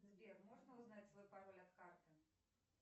сбер можно узнать свой пароль от карты